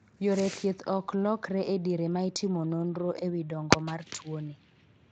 yore thieth ok lokre e diere ma itimo nionro ewi dong'o mar tuoni.